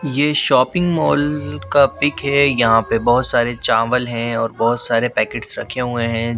ये shopping mall का pic है यहां पे बहुत सारे चावल है और बहोत सारे पैकेट्स रखे हुए हैं।